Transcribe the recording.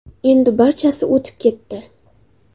Endi barchasi o‘tib ketdi.